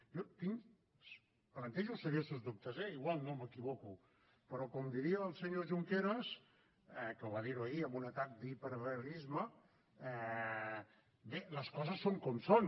jo tinc plantejo seriosos dubtes eh potser no m’equivoco però com diria el senyor junqueras que va dir ho ahir en un atac d’hiperrealisme bé les coses són com són